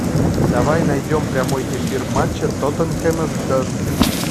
давай найдем прямой эфир матча тоттенхэма с бернли